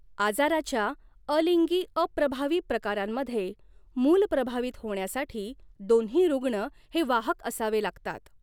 आजाराच्या अलिंगी अप्रभावी प्रकारांमध्ये, मूल प्रभावित होण्यासाठी, दोन्ही रुग्ण हे वाहक असावे लागतात.